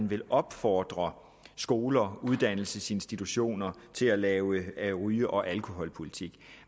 vil opfordre skoler og uddannelsesinstitutioner til at lave en ryge og alkoholpolitik